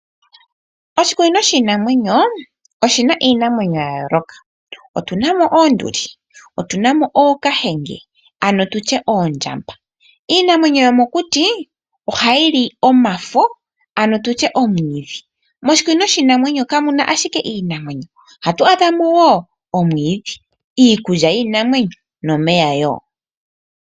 Oshikunino shiinamwenyo oshina iinamwenyo yayooloka. Omuna oonduli, ookahenge ano oondjamba. Iinamwenyo yomokuti ohayi li omafo nomwiidhi. Moshikunino shiinamwenyo kamu na ashike iinamwenyo ohamu adhika woo omwiidhi, iikulya yiinamwenyo nomeya woo.